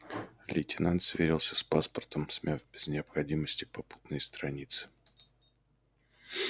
лейтенант сверился с паспортом смяв без необходимости попутные страницы